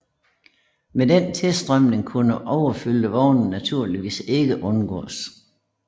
Med den tilstrømning kunne overfyldte vogne naturligvis ikke undgås